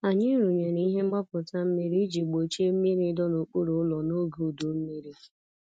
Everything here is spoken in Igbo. Anyị rụnyere ihe mgbapụta mmiri iji gbochie mmiri ịdọ n'okpuru ụlọ n'oge udu mmiri.